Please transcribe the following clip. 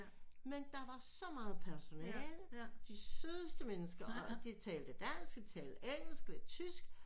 Men der var så meget personale de sødeste mennesker og og de talte dansk de talte engelsk og tysk